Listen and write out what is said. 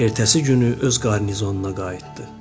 Ertəsi günü öz qarnizonuna qayıtdı.